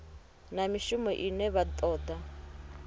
na mishumo ine vha toda